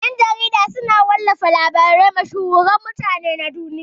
Ƴan-jarida suna wallafa labaran mashhuran mutane na duniya.